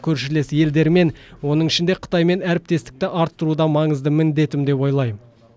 көршілес елдермен оның ішінде қытаймен әріптестікті арттыру да маңызды міндетім деп ойлаймын